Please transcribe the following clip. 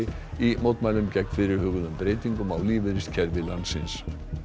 í mótmælum gegn fyrirhuguðum breytingum á lífeyriskerfi landsins